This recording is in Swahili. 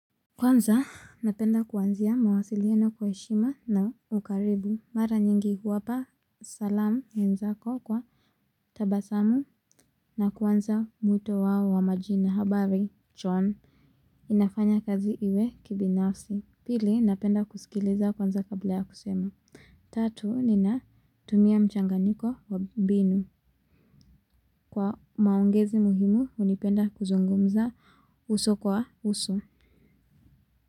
Kwanza napenda kuanzia mawasiliano kwa heshima na ukaribu mara nyingi huwapa salamu wenzako kwa tabasamu na kwanza mwito wao wa majina habari chon. Inafanya kazi iwe kibinafsi. Pili napenda kusikiliza kwanza kabla ya kusema. Tatu ninatumia mchanganyiko wa mbinu. Kwa maongezi muhimu hunipenda kuzungumza uso kwa uso. Kwa hivyo.